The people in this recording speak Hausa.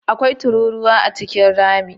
Akwai tururuwa A cikin rami?